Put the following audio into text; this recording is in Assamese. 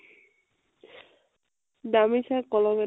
দামি চাই কলম এটা